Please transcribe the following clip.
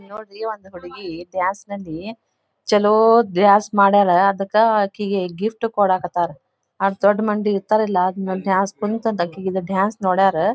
ಇಲ್ಲಿ ನೋಡ್ರಿ ಒಂದ್ ಹುಡುಗಿ ದ್ಯಾ ಸ್ ನಲ್ಲಿ ಚಲೋ ದ್ಯಾ ಸ್ ಮಾಡಾಳ್ ಅದಕ್ ಆಕಿಗೆ ಗಿಫ್ಟ್ ಕೊಡಕತ್ತರ್ ಅಷ್ಟ ದೊಡ್ಡ ಮಂದಿ ಇರತ್ತರಲ್ಲಾ ಡಾನ್ಸ್ ನೋಡಾರ್.